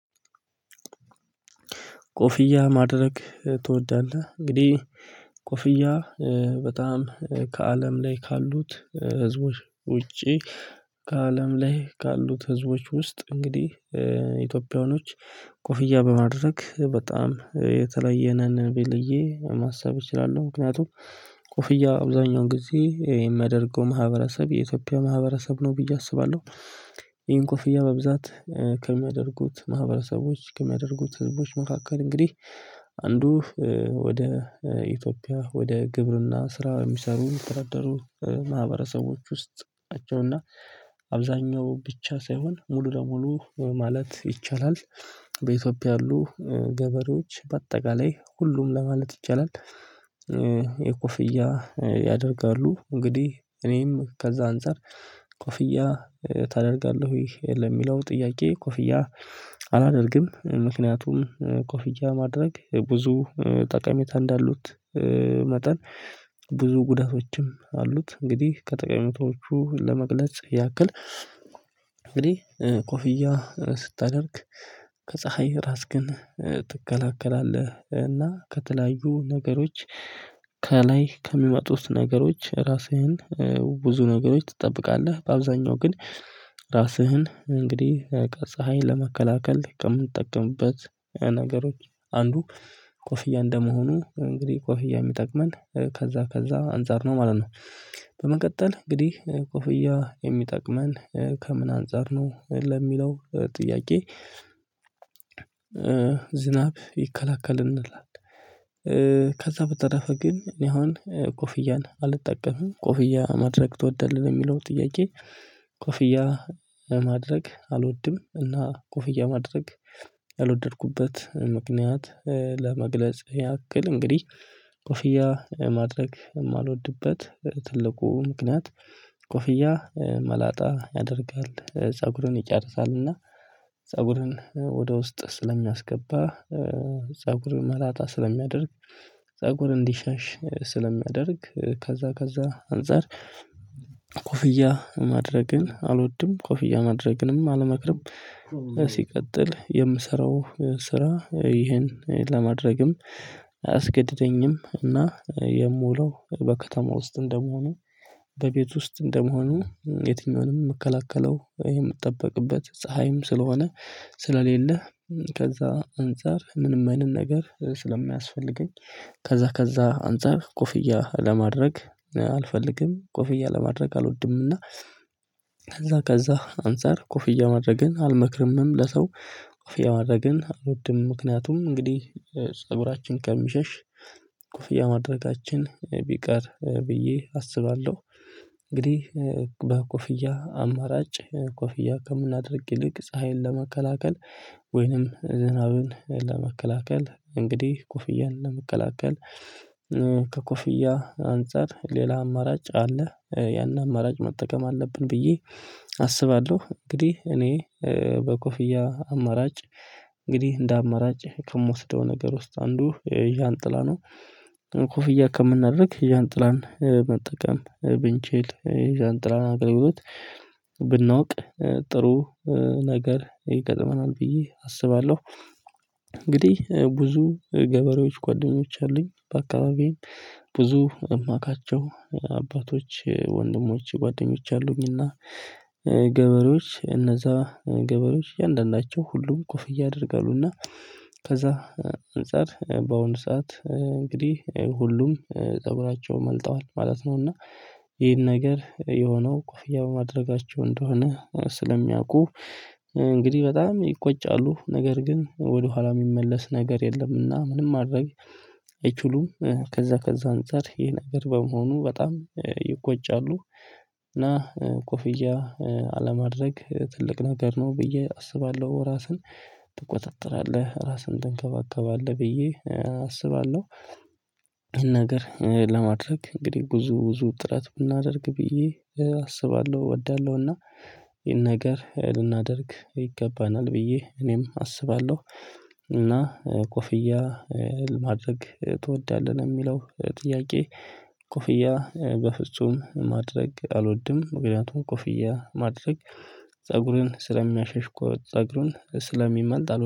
ኮፍያ ማድረግ ትወዳለህ? እንግዲህ ኮፍያ በጣም ከአለም ላይ ካሉት ህዝቦች ውጪ። ከአለም ላይ ካሉት ህዝቦች ውስጥ እንግዲህ ኢትዮጵያውያኖች ኮፍያ በማድረግ በጣም የተለየን ነን ቢዬ ማሰብ እችላለሁ። ምክንያቱም ኮፍያ አብዛኛውን ጊዜ የሚያደርገው ማህበረሰብ የኢትዮጵያ ማህበረሰብ ነው ብዬ አስባለሁ። ይሄን ኮፍያ በብዛት ከሚያደርጉት ማህበረሰቦች ከሚያደርጉት ህዝቦች መካከል እንግዲህ አንዱ ወደ ኢትዮጵያ ወደ ግብርና ስራ የሚሰሩ የሚተደራደሩ ማህበረሰቦች ውስጥ ናቸውና። አብዛኛው ብቻ ሳይሆን ሙሉ ለሙሉ ማለት ይቻላል። በኢትዮጵያ ያሉ ገበሬዎች በአጠቃላይ ሁሉም ለማለት ይቻላል የኮፍያ ያደርጋሉ። እንግዲህ እኔም ከዛ አንፃር ኮፍያ ታደርጋለህ ወይ የለም? የሚለው ጥያቄ ኮፍያ አላደርግም ምክንያቱም ኮፊያ ማድረግ ብዙ ጠቀሚታ እንዳሉት መጠን ብዙ ጉዳቶችም አሉት። እንግዲህ ከተቀሜታዎቹ ለመግለጽ ያክል እንግዲህ ኮፍያ ስታደርግ ከፀሀይ ራስክን ትከላከላለህ እና ከተለያዩ ነገሮች ከላይ ከሚመጡት ነገሮች ራስህን ከብዙ ነገሮች ትጠብቃለህ። በአብዛኛው ግን ራስህን እንግዲህ ከፀሀይ ለመከላከል ከምንጠቀምበት ነገሮች አንዱ ኮፍያ እንደመሆኑ እንግዲህ ኮፍያ የሚጠቅመን ከዛ ከዛ አንፃር ነው ማለት ነው። በመቀጠል እንግዲህ ኮፍያ የሚጠቅመን ከምን አንፃር ነው ለሚለው ጥያቄ ዝናብ ይከላከልናል። ከዛ በተረፈ ግን እኔ አሁን ኮፍያን አልጠቀምም ኮፍያ ማድረግ ትወዳለህ የሚለው ጥያቄ? ኮፍያ ማድረግ አልወድም። እና ኮፍያ ማድረግ ያልወደድኩበት ምክንያት ለመግለጽ ያክል እንግዲህ ኮፍያ ማድረግ የማልወድበት ትልቁ ምክንያት ኮፍያ መላጣ ያደርጋል ፀጉሩን ይጨርሳልና። ፀጉርን ወደ ውስጥ ስለሚያስገባ ፀጉር መላጣ ስለሚያደርግ። ፀጉር እንዲሸሽ ስለሚያደርግ ከዛ ከዛ አንፃር ኮፍያ ማድረግን አልወድም። ኮፍያ ማድረግንም አልመክርም። ሲቀጥል የምሰራው ስራ ይህን ለማድረግም አያስገድደኝም እና የምውለው በከተማ ውስጥ እንደመሆኑ በቤት ውስጥ እንደመሆኑ የትኛውንም የምከለከለው የምጠበቅበት ፀሀይም ስለሆነ። ስለሌለ ከዛ አንፃር ምንም አይነት ነገር ስለማያስፈልገኝ። ከዛ ከዛ አንፃር ኮፍያ ለማድረግ አልፈልግም። ኮፍያ ለማድረግ አልወድምና እና ከዛ ከዛ አንፃር ኮፍያ ማድረግን አልመክርምም ለሰው ኮፍያ ማድረግን አልወድም። ምክንያቱም እንግዲህ ፀጉራችን ከሚሸሽ ኮፍያ ማድረጋችን ቢቀር ብዬ አስባለሁ። እንግዲህ በኮፍያ አማራጭ ኮፍያ ከምናደርግ ይልቅ ፀሀይን ለመከላከል ወይንም ዝናብን ለመከላከል እንግዲህ ኩፍያን ለመከላከል ከኮፍያ አንፃር ሌላ አማራጭ አለ። ያን አማራጭ መጠቀም አለብን ብዬ አስባለሁ። እንግዲህ እኔ በኮፍያ አማራጭ እንግዲህ እንደ አመራጭ ከምወስደው ነገር ውስጥ አንዱ ዣንጥላ ነው። ኮፍያ ከምናደርግ ዣንጥላን መጠቀም ብንችል ዣንጥላ አገልግሎት ብናውቅ ጥሩ ነገር ይገጥመናል ብዬ አስባለሁ። እንግዲህ ብዙ ገበሬዎች ጓደኞች አሉኝ በአካባቢዬ ብዙ እማቃቸው አባቶች ወንድሞች ጓደኞች አሉኝና። ገበሬዎች እነዛ ገበሬዎች እያንዳንዳቸው ሁሉም ክፍያ ያደርጋሉና። ከዛ አንፃር በወንድ ሰዓት እንግዲህ ሁሉም ፀጉራቸው መልጠዋል ማለት ነው። እና ይሄን ነገር የሆነው ኮፍያ በማድረጋቸው እንደሆነ ስለሚያውቁ እንግዲህ በጣም ይቆጫሉ ነገር ግን ወደኋላ የሚመለስ ነገር የለምና ምንም ማድረግ አይችሉም። ከዛ ከዛ አንፃር ይህ ነገር በመሆኑ በጣም ይኮጫሉ። እና ኮፍያ አለማድረግ ትልቅ ነገር ነው ብዬ አስባለሁ። ራስን ትቆጣጠራለህ ራስን ትንከባከባለህ ብዬ አስባለሁ። ይህን ነገር ለማድረግ እንግዲህ ብዙ ብዙ ጥረት ብናደርግ ብዬ አስባለሁ እወዳለሁና ይሄን ነገር ልናደርግ ይገባናል ብዬ እኔም አስባለሁ። እና ኮፍያ ለማድረግ ትወዳለህ? ለሚለው ጥያቄ ኮፍያ በፍጹም ማድረግ አልወድም ምክንያቱም ኮፍያ ማድረግ ፀጉሬን ስለሚያሸሽ ፀጉሩን ስለሚመልጥ አሉ